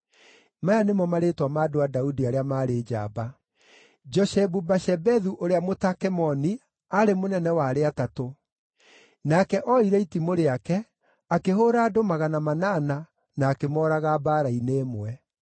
Maya nĩmo marĩĩtwa ma andũ a Daudi arĩa maarĩ njamba: Joshebu-Bashebethu ũrĩa Mũtakemoni aarĩ mũnene wa arĩa atatũ; nake oire itimũ rĩake, akĩhũũra andũ magana manana, na akĩmooraga mbaara-inĩ ĩmwe.